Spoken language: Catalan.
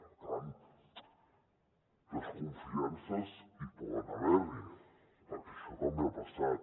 per tant de desconfiances poden haver n’hi perquè això també ha passat